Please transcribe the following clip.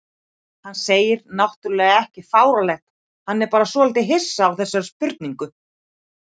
Hann segir náttúrlega ekki fáránlegt, hann er bara svolítið hissa á þessari spurningu.